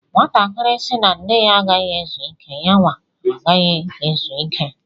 Nwatakịrị sị na nne ya agaghi ezu ike, yawa agaghị ezuike.